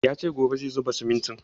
Ya ce gobe zai zuba simintin